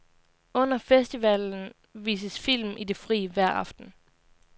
Under festivalen vises film i det fri hver aften.